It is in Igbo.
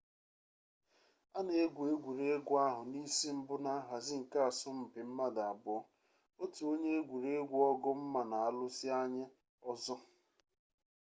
a na-egwu egwuregwu ahụ n'isimbụ na nhazi nke asọmpi mmadụ abụọ otu onye egwuregwu ọgụ mma na-alụsị anye ọzọ